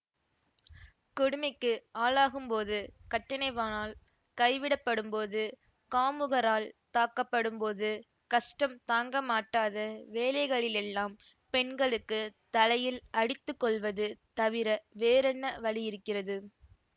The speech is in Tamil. கொடுமைக்கு ஆளாகும்போது கட்டினவானால் கைவிடப்படும்போது காமுகரால் தாக்கப்படும்போது கஷ்டம் தாங்கமாட்டாத வேளைகளிலெல்லாம் பெண்களுக்குத் தலையில் அடித்து கொள்வது தவிர வேறென்ன வழி இருக்கிறது